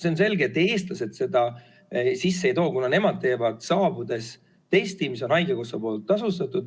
See on selge, et eestlased seda sisse ei too, kuna nemad teevad saabudes testi, mis on haigekassa poolt tasutud.